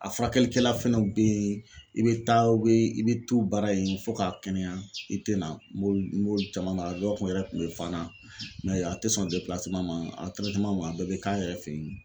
A furakɛlikɛla fɛnɛ be yen, i be taa, i be to u baara yen fɔ k'a kɛnɛya i te na, mori caman bara ,dɔw kun yɛrɛ kun be Fana mɛ a te sɔn ma a bɛɛ be k'a yɛrɛ fe yen